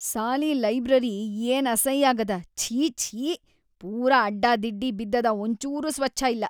ಸಾಲೀ library ಏನ್ ಅಸೈಯಾಗ್ಯಾದ ಛೀ, ಛೀ, ಪೂರಾ ಅಡ್ಡಾದಿಡ್ಡಿ ಬಿದ್ದದ ಒಂಚೂರೂ ಸ್ವಚ್ಛ್‌ ಇಲ್ಲಾ.